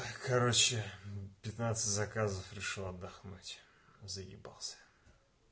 ай короче пятнадцать заказов решил отдохнуть заебался